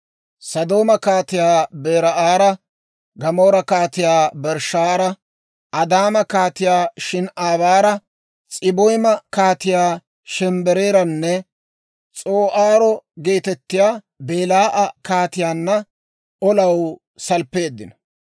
Sodooma Kaatiyaa Beera'aara, Gamoora Kaatiyaa Birshshaara, Adaama Kaatiyaa Shin"aabaara, S'aboyma Kaatiyaa Shemebeeraaranne (S'oo'aaro geetettiyaa) Belaa'a Kaatiyaanna olaw salppeeddino.